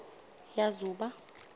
yazuba